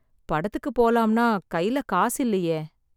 படத்துக்கு போலாம்னா கையில காசு இல்லயே